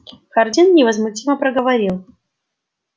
хардин невозмутимо проговорил